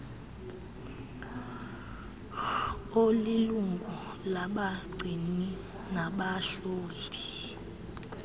olilungu labagcini nabahloli